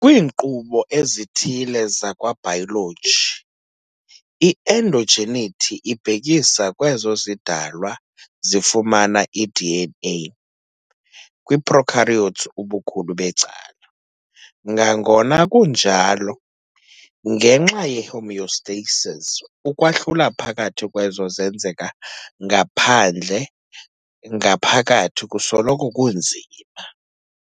Kwiinkqubo ezithile zakwa-biology, i-endogeneity ibhekisa kwezo zidalwa zifumana i-DNA, kwii-prokaryotes ubukhulu becala. Ngangona kunjalo, ngenxa ye-homeostasis, ukwahlula phakathi kwezo zenzeka ngaphandle ngaphakathi kusoloko kunzima.